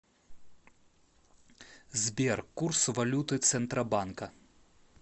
сбер курс валюты центробанка